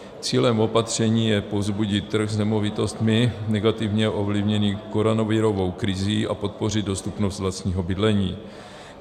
Cílem opatření je povzbudit trh s nemovitostmi negativně ovlivněný koronavirovou krizí a podpořit dostupnost vlastního bydlení.